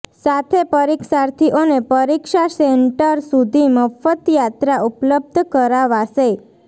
સાથે પરીક્ષાર્થિઓને પરીક્ષા સેન્ટર સુધી મફત યાત્રા ઉપલબ્ધ કરાવાશે